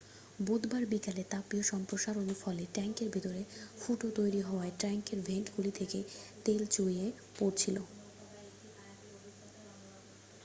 বুধবার বিকেলে তাপীয় সম্প্রসারণর ফলে ট্যাঙ্কের ভিতরে ফুটো তৈরি হওয়ায় ট্যাঙ্কের ভেন্টগুলি থেকে তেল চুইয়ে পড়ছিল